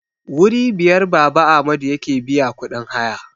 Wuri biyar Baba Amadu yake biya kudin haya